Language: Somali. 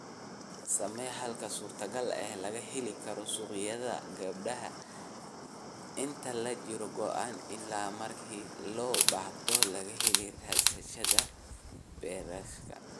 Samee halka suurtogalka ah ee laga heli karo suuqyada gabbaldayaha inta lagu jiro goosashada iyo marka loo baahdo laga helo rasiidhada bakhaarka.